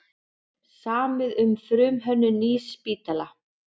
Samið um frumhönnun nýs spítala